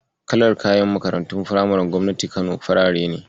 Kalar kayan Makarantun firamaren gobnatin Kano farare ne.